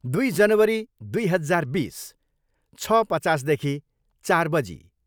दुई जनवरी दुई हजार बिस, छ पचासदेखि चार बजी।